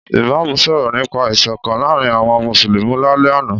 Ìmámù sọ̀rọ̀ nípa ìsọ̀kan láàrín àwon mùsùlùmì lálẹ́ àná.